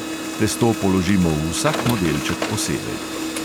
Testo položimo v vsak modelček posebej.